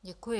Děkuji.